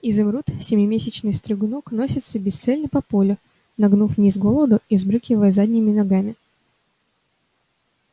изумруд семимесячный стригунок носится бесцельно по полю нагнув вниз голову и взбрыкивая задними ногами